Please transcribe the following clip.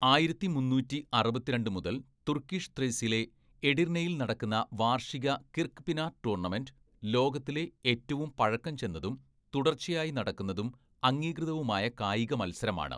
ആയിരത്തി മുന്നൂറ്റി അറുപത്തിരണ്ട് മുതൽ തുർക്കിഷ് ത്രേസിലെ എഡിർനെയിൽ നടക്കുന്ന വാർഷിക കിർക്പിനാർ ടൂർണമെൻ്റ്, ലോകത്തിലെ ഏറ്റവും പഴക്കം ചെന്നതും തുടർച്ചയായി നടക്കുന്നതും അംഗീകൃതവുമായ കായിക മത്സരമാണ്..